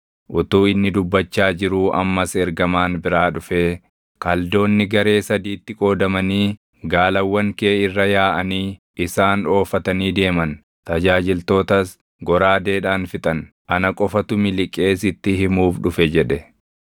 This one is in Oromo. Utuu inni dubbachaa jiruu ammas ergamaan biraa dhufee, “Kaldoonni garee sadiitti qoodamanii gaalawwan kee irra yaaʼanii isaan oofatanii deeman; tajaajiltootas goraadeedhaan fixan; ana qofatu miliqee sitti himuuf dhufe!” jedhe.